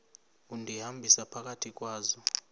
undihambisa phakathi kwazo